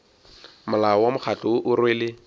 molao wa mokgatlo o rwele